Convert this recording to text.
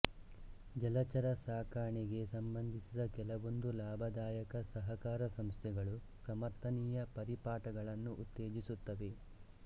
ಜಲಚರ ಸಾಕಣೆಗೆ ಸಂಬಂಧಿಸಿದ ಕೆಲವೊಂದು ಲಾಭದಾಯಕ ಸಹಕಾರ ಸಂಸ್ಥೆಗಳು ಸಮರ್ಥನೀಯ ಪರಿಪಾಠಗಳನ್ನು ಉತ್ತೇಜಿಸುತ್ತವೆ